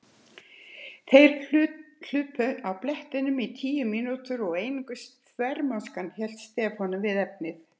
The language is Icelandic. Þeir hlupu á blettinum í tíu mínútur og einungis þvermóðskan hélt Stefáni við efnið.